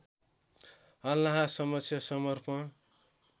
अल्लाहसमक्ष समर्पण